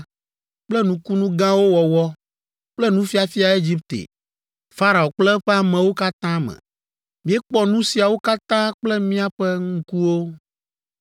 kple nukunu gãwo wɔwɔ kple fufiafia Egipte, Farao kple eƒe amewo katã me. Míekpɔ nu siawo katã kple míaƒe ŋkuwo.